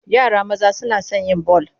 Yara maza suna son yin bal.